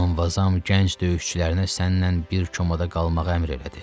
Mqanvazam gənc döyüşçülərinə sənlə bir komada qalmağı əmr elədi.